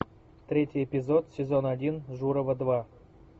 третий эпизод сезон один журова два